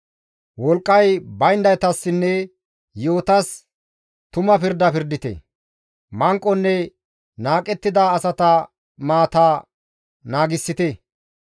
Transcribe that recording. Wolqqay bayndaytassinne yi7otas tuma pirda pirdite; manqonne naaqettida asata maata naagissite.